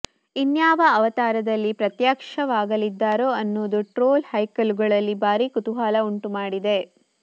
ಇನ್ಯಾವ ಅವತಾರದಲ್ಲಿ ಪ್ರತ್ಯಕ್ಷವಾಗಲಿದ್ದಾರೋ ಅನ್ನೋದು ಟ್ರೋಲ್ ಹೈಕಳುಗಳಲ್ಲಿ ಭಾರೀ ಕುತೂಹಲ ಉಂಟುಮಾಡಿದೆ